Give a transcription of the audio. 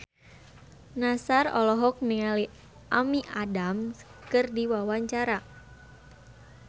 Nassar olohok ningali Amy Adams keur diwawancara